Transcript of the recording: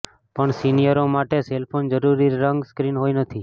પણ સીનિયરો માટે સેલ ફોન જરૂરી રંગ સ્ક્રીન હોય નથી